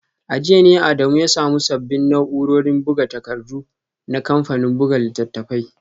A jiya ne Adamu ya samu sabbin na’urorin buga takardu na kamfanin buga littattafai